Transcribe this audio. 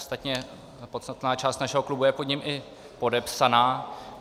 Ostatně podstatná část našeho klubu je pod ním i podepsaná.